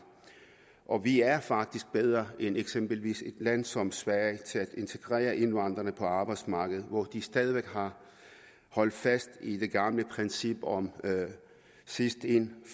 og vi er faktisk bedre end eksempelvis et land som sverige til at integrere indvandrerne på arbejdsmarkedet hvor de stadig væk har holdt fast i det gamle princip om sidst ind